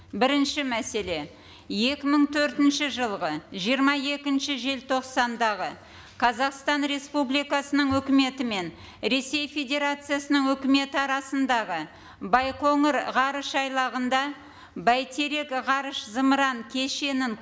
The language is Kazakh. бірінші мәселе екі мың төртінші жылғы жиырма екінші желтоқсандағы қазақстан республикасының өкіметі мен ресей федерациясының өкіметі арасындағы байқоңыр ғарыш айлағында бәйтерек ғарыш зымыран кешенін